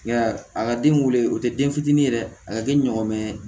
Nka a ka den wele o tɛ den fitinin ye dɛ a ka kɛ ɲɔgɔmɛ